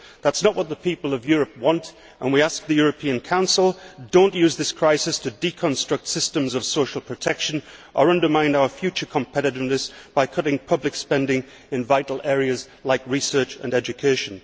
That is not what the people of Europe want, and we ask the European Council not to use this crisis to deconstruct systems of social protection or undermine our future competitiveness by cutting public spending in vital areas like research and education.